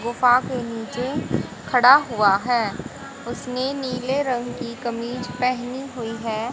गुफा के नीचे खड़ा हुआ है उसने नीले रंग की कमीज पहेनी हुई है।